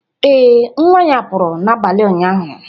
Ee, nwa ya pụrụ n'abalị ụnyaahụ